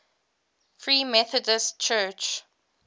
free methodist church